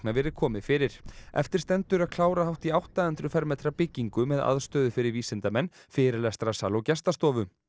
verið komið fyrir eftir stendur að klára hátt í átta hundruð fermetra byggingu með aðstöðu fyrir vísindamenn fyrirlestrasal og gestastofu